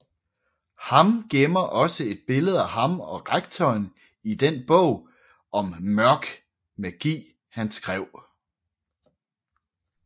Ham gemmer også et billede af ham og rektoren i den bog om mørk magi han skrev